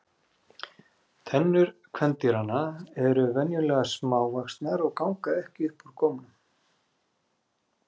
Tennur kvendýranna eru venjulega smávaxnar og ganga ekki upp úr gómnum.